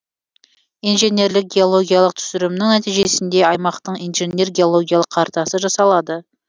инженерлік геологиялық түсірімнің нәтижесінде аймақтың инженер геологиялық картасы жасалады